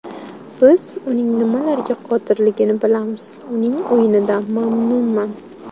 Biz uning nimalarga qodirligini bilamiz, uning o‘yinidan mamnunman.